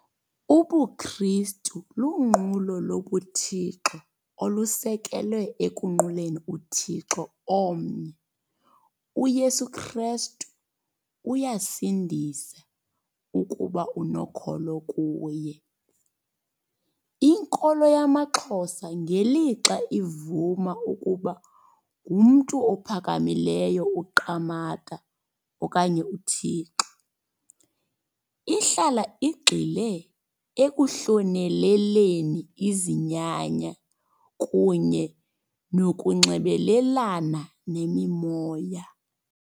UbuKristu lunqulo lobuThixo olusekelwe ekunquleni uThixo omnye. UYesu Krestu uyasindisa ukuba unokholo kuye. Inkolo yamaXhosa ngelixa ivuma ukuba ngumntu ophakamileyo uQamata okanye uThixo. Ihlala igxile ekuhloneleleni izinyanya kunye nokunxibelelana nemimoya.